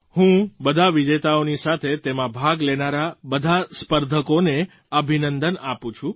હું બધા વિજેતાઓની સાથે તેમાં ભાગ લેનારા બધાં સ્પર્ધકોને અભિનંદન આપું છું